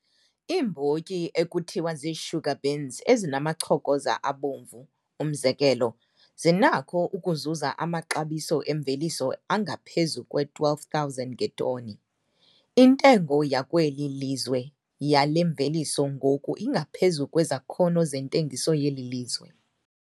Iimbotyi ekuthiwa ziisugar beans ezinamachokoza abomvu, umzekelo, zinakho ukuzuza amaxabiso emveliso angaphezu kwe-R12 000 ngetoni. Intengo yakweli lizwe yale mveliso ngoku ingaphezu kwezakhono zentengiso yeli lizwe.